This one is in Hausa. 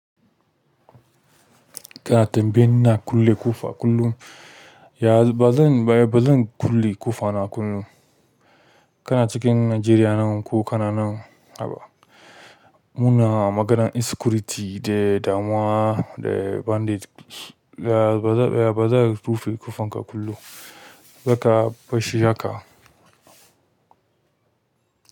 Kana tambaya ina kulle ƙofa kullum, ya ba zan, baya ba zan kulle ƙofa na kullum. Kana cikin Najeriya nan ko kana nan haba. Muna maganan insecurity da damuwa da bandit. Ya ba za, baya ba za ka rufe ƙofan ka kullum, za ka fashe jaka.